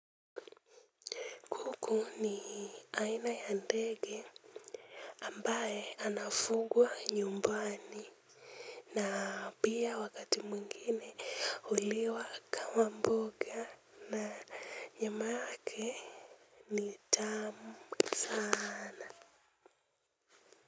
Kuku ni aina ya ndege ambaye anafugwa nyumbani na pia wakati mwingine huliwa kama mboga na nyama yake ni tamu sana.